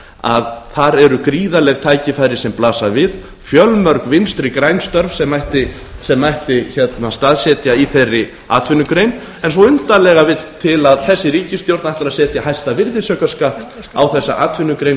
ferðamálafyrirtækja þar eru gríðarleg tækifæri sem blasa við fjölmörg vinstri græn störf sem mætti staðsetja í þeirri atvinnugrein en svo undarlega vill til að þessi ríkisstjórn ætlar að setja hæsta virðisaukaskatt á þessa atvinnugrein